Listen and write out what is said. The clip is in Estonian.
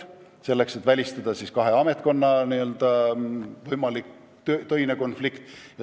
Seda just selleks, et välistada kahe ametkonna võimalik töine konflikt.